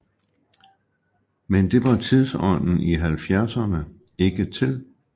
Men det var tidsånden i halvfjerdserne ikke til